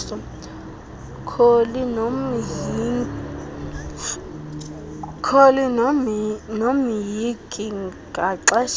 kholi nomhinki ngaxeshanye